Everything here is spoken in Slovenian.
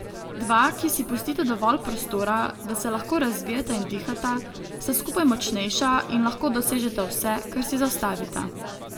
Dva, ki si pustita dovolj prostora, da se lahko razvijata in dihata, sta skupaj močnejša in lahko dosežeta vse, kar si zastavita.